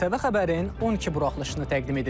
ITV xəbərin 12 buraxılışını təqdim edirik.